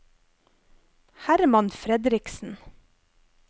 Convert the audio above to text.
Herman Fredriksen